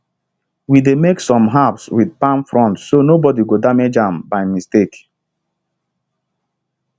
we dey mark some herbs with palm fronds so nobody go damage am by mistake